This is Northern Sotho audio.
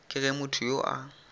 ke ge motho yo a